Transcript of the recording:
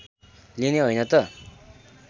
लिने हैन त